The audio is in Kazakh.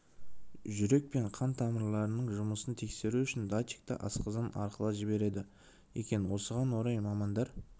жүрек пен қан тамырларының жұмысын тексеру үшін датчикті асқазан арқылы жібереді екен осыған орай мамандар